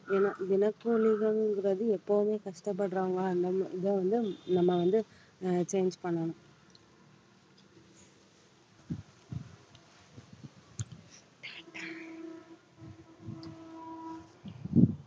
ஏன்னா தினக்கூலிகள்ங்கிறது எப்பவுமே கஷ்ட படுறாங்க அந்த இதை வந்து நம்ம வந்து அஹ் change பண்ணணும்